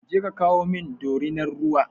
Je ka kawo min dorinar ruwa!